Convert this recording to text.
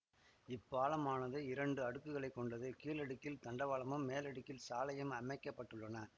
இப்பாலமானது இரண்டு அடுக்குகளை கொண்டது கீழடுக்கில் தண்டவாளமும் மேலடுக்கில் சாலையும் அமைக்க பட்டுள்ளன